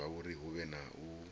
zwauri hu vhe na u